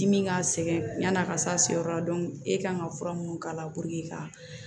Dimi ka sɛgɛn yani a ka s'a seyɔrɔ la e kan ka fura minnu k'a la ka